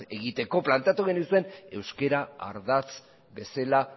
egiteko planteatu genizuen euskara ardatz bezala